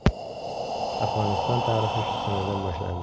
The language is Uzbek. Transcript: Afg‘oniston tarixi shu sanadan boshlandi.